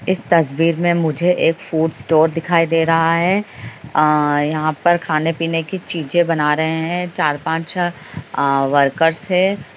इस तस्वीर मे मुझे एक फूड स्टोर दिखाई दे रहा है अ यहां पर खाने-पीने की चीजें बना रहे है चार-पांच अ वर्कर्स है।